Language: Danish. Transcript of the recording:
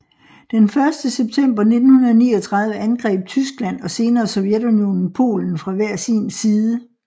Den første september 1939 angreb Tyskland og senere Sovjetunionen Polen fra hver sin side